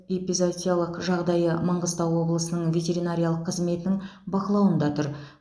эпизоотиялық жағдайы маңғыстау облысының ветеринариялық қызметінің бақылауында тұр